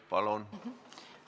Palun!